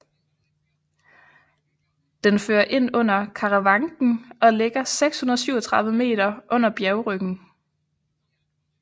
Den fører ind under Karawanken og ligger 637 m under bjergryggen